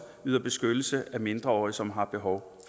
yder beskyttelse af mindreårige som har behov